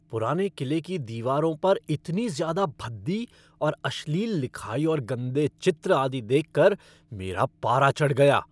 पुराने किले की दीवारों पर इतनी ज़्यादा भद्दी और अश्लील लिखाई और गंदे चित्र आदि देख कर मेरा पारा चढ़ गया।